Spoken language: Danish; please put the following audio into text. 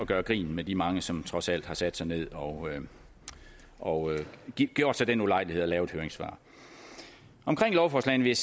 gøre grin med de mange som trods alt har sat sig ned og og gjort sig den ulejlighed at lave et høringssvar om lovforslagene vil